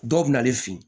Dɔw bɛ na ale fin